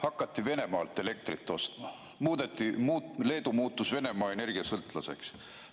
Hakati Venemaalt elektrit ostma, Leedu muutus Venemaa energiast sõltuvaks.